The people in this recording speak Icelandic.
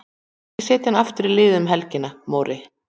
Ekki setja hann aftur í liðið um helgina Móri.